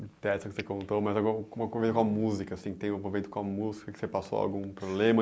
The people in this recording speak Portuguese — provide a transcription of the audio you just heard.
Dessas que você contou, mas algu com alguma com a música, assim, tem uma com a música, que você passou algum problema.